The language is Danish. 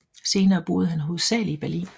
Senere boede han hovedsagelig i Berlin